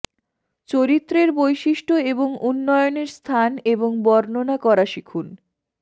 চরিত্রের বৈশিষ্ট্য এবং উন্নয়নের স্থান এবং বর্ণনা করা শিখুন